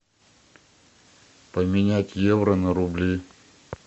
поменять евро на рубли